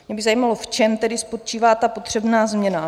Mě by zajímalo, v čem tedy spočívá ta potřebná změna.